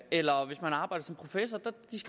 eller hvis man har arbejdet